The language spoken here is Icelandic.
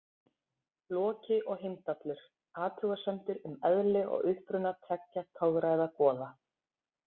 Loki og Heimdallur: Athugasemdir um eðli og uppruna tveggja torræðra goða.